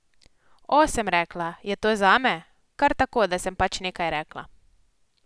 O, sem rekla, je to zame, kar tako, da sem pač nekaj rekla.